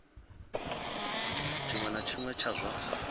tshiṅwe na tshiṅwe tsha zwa